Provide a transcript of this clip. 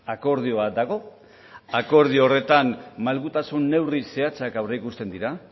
akordio bat dago akordio horretan malgutasun neurri zehatzak aurreikusten dira